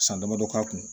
San damadɔ k'a kun